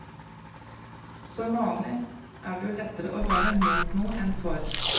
Som vanlig er det jo lettere å være mot noe enn for.